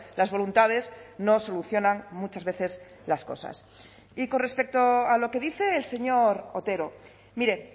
las voluntades no solucionan muchas veces las cosas y con respecto a lo que dice el señor otero mire